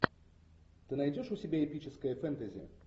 ты найдешь у себя эпическое фэнтези